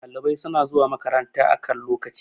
ɗalibai suna zuwa makaranta a kan lokaci